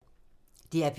DR P3